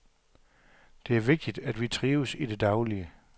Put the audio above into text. Det er vigtigt, at vi trives i det daglige.